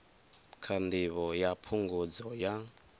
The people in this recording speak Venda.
kha ndivho ya phungudzo ya